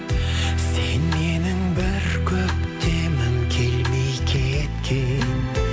сен менің бір көктемім келмей кеткен